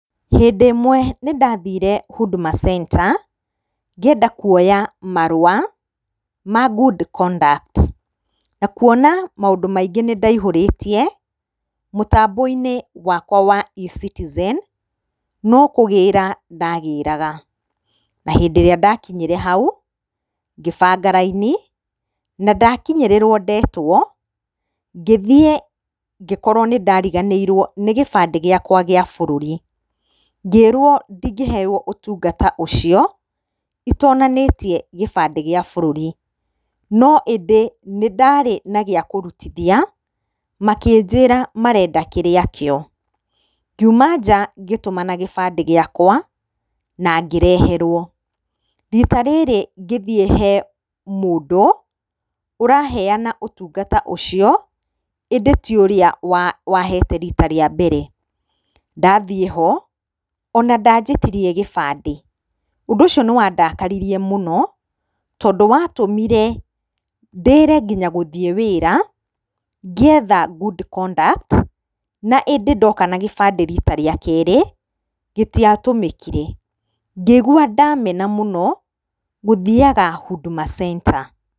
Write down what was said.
Hĩndĩ ĩmwe nĩndathire Huduma Center ngĩenda kuoya marũa ma good conduct na kuona maũndũ maingĩ nĩndaihũrĩtie mũtambo-inĩ wakwa wa e-citizen no kũgĩra ndagĩraga. Na hĩndĩ ĩrĩa ndakinyire hau ngĩbanga raini nandakinyĩrĩrwo, ndetwo ngĩthiĩ ngĩkorwo nĩndariganĩirwo nĩ gĩbandĩ gĩakwa gĩa bũrũri. Ngĩrwo ndingĩheo ũtungata ũcio itonanĩtie gĩbandĩ gĩa bũrũri no ĩndĩ nĩndarĩ na gĩakũrutithia makĩnjĩra marenda kĩrĩa kĩo. Ngiuma nja ngĩtũmana kĩbandĩ gĩakwa na ngĩreherwo. Rita rĩrĩ ngĩthiĩ hee mũndũ ũraheyana ũtungata ũcio ĩndĩ ti ũrĩa wahete rita rĩa mbere, ndathiĩ ho ona ndanjĩtirie gĩbandĩ. Ũndũ ũcio nĩwandakaririe mũno tondũ watũmire ndĩre nginya gũthiĩ wĩra ngĩetha ]cs]good conduct ĩndĩ ndoka na gĩbandĩ rita rĩa kerĩ gĩtiatũmĩkire. Ngĩigua ndamena mũno gũthiyaga Huduma Center.